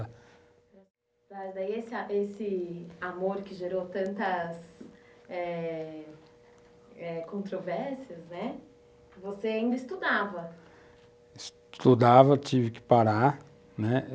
Mas aí essa esse amor que gerou tantas eh eh controvérsias, né, você ainda estudava? estudava, tive que parar, né?